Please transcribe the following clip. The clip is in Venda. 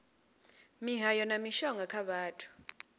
mihayo na mishonga kha vhathu